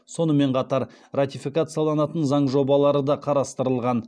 сонымен қатар ратификацияланатын заң жобалары да қарастырылған